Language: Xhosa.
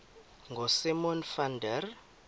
ngosimon van der